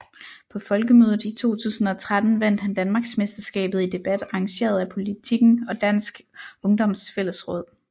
På Folkemødet i 2013 vandt han Danmarksmesterskabet i debat arrangeret af Politiken og Dansk Ungdoms Fællesråd